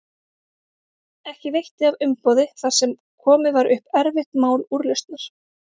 Ekki veitti af umboði þar sem komið var upp erfitt mál úrlausnar.